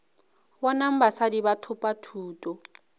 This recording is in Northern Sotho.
bonang basadi ba thopa thuto